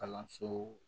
Kalanso